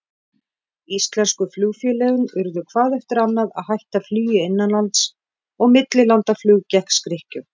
Íslensku flugfélögin urðu hvað eftir annað að hætta flugi innanlands, og millilandaflug gekk skrykkjótt.